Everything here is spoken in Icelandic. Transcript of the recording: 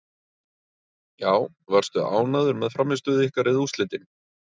Já Varstu ánægður með frammistöðu ykkar eða úrslitin?